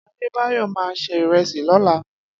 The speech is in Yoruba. Adedayo ma ṣe ìrẹsì lọ́la.